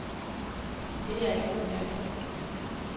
Det er ikke så mærkeligt.